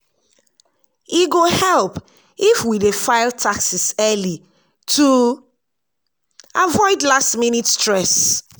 e go help if we dey file taxes early to avoid last-minute stress.